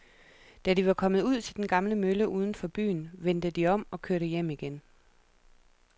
Da de var kommet ud til den gamle mølle uden for byen, vendte de om og kørte hjem igen.